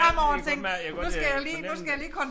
Ja jeg kunne godt mærke jeg kunne godt øh fornemme det